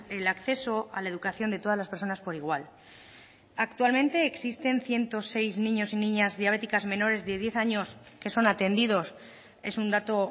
el acceso a la educación de todas las personas por igual actualmente existen ciento seis niños y niñas diabéticas menores de diez años que son atendidos es un dato